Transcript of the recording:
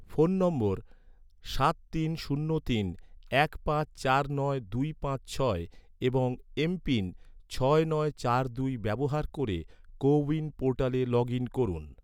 phone নম্বর সাত তিন শূন্য তিন এক পাঁচ চার নয় দুই পাঁচ ছয় ছয় নয় চার দুই এবং এম.পিন ছয় নয় চার দুই ব্যবহার ক’রে, কো উইন পোর্টালে লগ ইন করুন